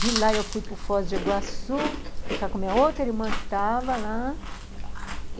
De lá eu fui para o Foz de Iguaçu, ficar com a minha outra irmã que estava lá.